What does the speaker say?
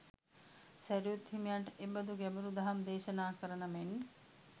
සැරියුත් හිමියන්ට එබඳු ගැඹුරු දහම් දේශනා කරන මෙන්